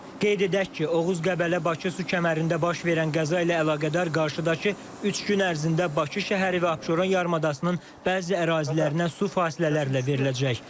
Qeyd edək ki, Oğuz Qəbələ Bakı su kəmərində baş verən qəza ilə əlaqədar qarşıdakı üç gün ərzində Bakı şəhəri və Abşeron yarımadasının bəzi ərazilərinə su fasilələrlə veriləcək.